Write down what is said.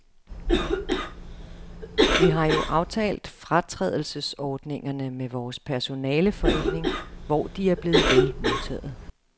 Vi har jo aftalt fratrædelsesordningerne med vores personaleforening, hvor de er blevet vel modtaget.